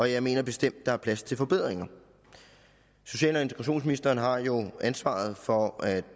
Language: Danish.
jeg mener bestemt der er plads til forbedringer social og integrationsministeren har jo ansvaret for at